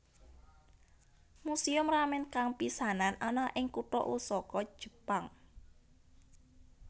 Museum Ramen kang pisanan ana ing kutha Osaka Jepang